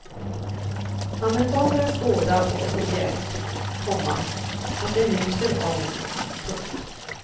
Han är fager att skåda och så bjärt, komma att det lyser av honom. punkt